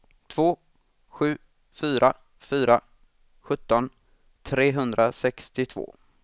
två sju fyra fyra sjutton trehundrasextiotvå